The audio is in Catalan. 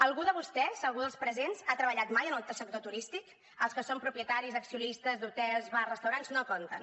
algú de vostès algú dels presents ha treballat mai en el sector turístic els que són propietaris accionistes d’hotels bars restaurants no compten